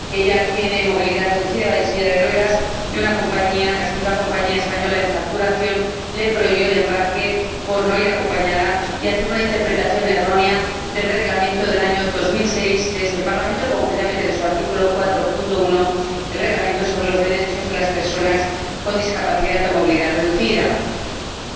Ella tiene movilidad reducida —va en silla de ruedas— y una compañía, la segunda compañía aérea española en facturación, le prohibió el embarque por no ir acompañada, al hacer una interpretación errónea del Reglamento del año 2006 de este Parlamento, concretamente del artículo 4, apartado 1, del Reglamento sobre los derechos de las personas con discapacidad o movilidad reducida en el transporte aéreo.